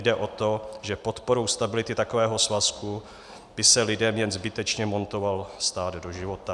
Jde o to, že podporou stability takového svazku by se lidem jen zbytečně montoval stát do života.